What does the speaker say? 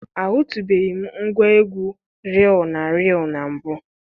Ahụtụbeghị m ngwa egwu riil na riil na mbụ.